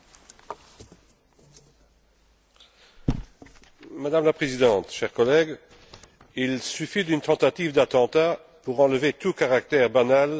Madame la Présidente, chers collègues, il suffit d'une tentative d'attentat pour enlever tout caractère de banalité à l'affirmation du droit à la sécurité de nos concitoyens.